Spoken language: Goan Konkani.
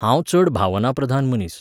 हांव चड भावनाप्रधान मनीस.